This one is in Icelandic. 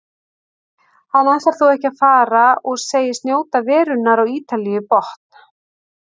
Hann ætlar þó ekki að fara og segist njóta verunnar á Ítalíu í botn.